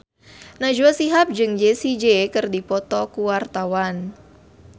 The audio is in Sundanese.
Najwa Shihab jeung Jessie J keur dipoto ku wartawan